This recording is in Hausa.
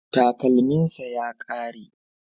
Takalminsa ya kare